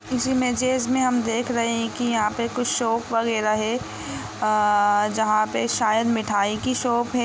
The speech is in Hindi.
इस इमेजइस में हम देख रहे है की यहा पे कुछ सोप वगेरा है अ जहा पे शायद मिठाई की शॉप है।